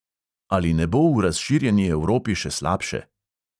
Ali ne bo v razširjeni evropi še slabše?